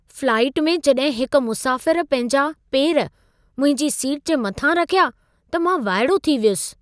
Flight में जॾहिं हिकु मुसाफ़िरु पंहिंजा पेर मुंहिंजी सीट जे मथां रखिया, त मां वाइड़ो थी वयुसि।